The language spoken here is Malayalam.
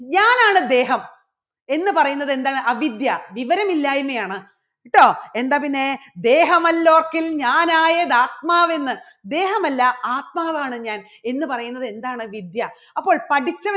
ഞാനാണ് ദേഹം എന്ന് പറയുന്നത് എന്താണ് അവിദ്യ വിവരമില്ലായ്മയാണ് ഇട്ടോ എന്താ പിന്നെ ദേഹമല്ലോത്തിൻ ഞാനായത് ആത്മാവെന്ന് ദേഹമല്ല ആത്മാവാണ് ഞാൻ എന്ന് പറയുന്നത് എന്താണ് വിദ്യ അപ്പോൾ പഠിച്ചത്